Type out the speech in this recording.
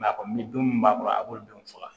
a kɔni don min b'a kɔrɔ a b'olu denw faga